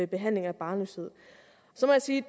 behandling af barnløshed så må jeg sige